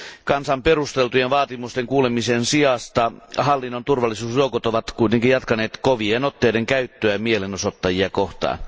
Kansan perusteltujen vaatimusten kuulemisen sijasta hallinnon turvallisuusjoukot ovat kuitenkin jatkaneet kovien otteiden käyttöä mielenosoittajia kohtaan.